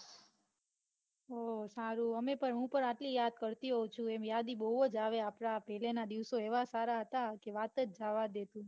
ઓ સારું અમે પણ હું પણ આટલી યાદ કરતી હોઉં છું. એમ યાદી બૌ જ આવે આપડા પેલાના દિવસો એવા સારા હતા કે વાત જ જાવા દે તું.